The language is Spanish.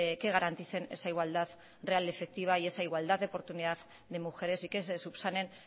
que garanticen esa igualdad real efectiva y esa igualdad de oportunidad de mujeres y que se subsanen